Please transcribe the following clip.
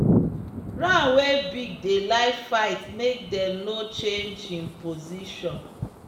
ram wey big dey like fight make them no change him position